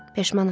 Peşmanam.